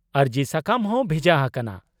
ᱟᱹᱨᱡᱤ ᱥᱟᱠᱟᱢ ᱦᱚᱸ ᱵᱷᱮᱡᱟ ᱦᱟᱠᱟᱱᱟ ᱾